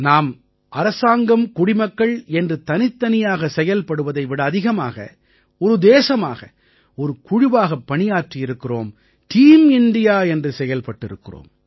நாம் அரசாங்கம் குடிமக்கள் என்று தனித்தனியாக செயல்படுவதை விட அதிகமாக ஒரு தேசமாக ஒரு குழுவாகப் பணியாற்றியிருக்கிறோம் டீம் இண்டியா என்று செயல்பட்டிருக்கிறோம்